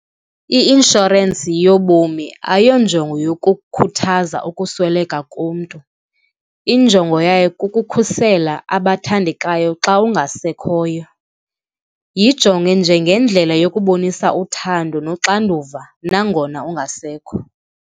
I-inshorensi yobomi ayonjongo yokukhuthaza ukusweleka komntu, injongo yayo kukukhusela abathandekayo xa ungasekhoyo. Yinjonge njengendlela yokubonisa uthando noxanduva nangona ungasekho.